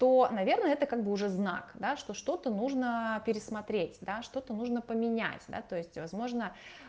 то наверное это как бы уже знак да что-то нужно пересмотреть да что-то нужно поменять да то есть возможно